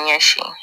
Ɲɛsin